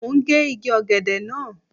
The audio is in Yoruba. Mo ń gé igi ọ̀gẹ̀dẹ̀ náà.